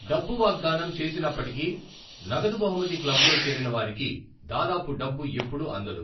డబ్బు వాగ్దానం చేసినప్పటికీ, నగదు బహుమతి క్లబ్లో చేరిన వారికి దాదాపు డబ్బు ఎప్పుడు అందదు.